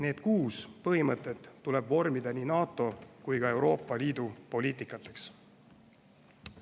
Need kuus põhimõtet tuleb vormida nii NATO kui ka Euroopa Liidu poliitikaks.